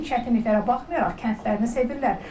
Bütün çətinliklərə baxmayaraq kəndlərini sevirlər.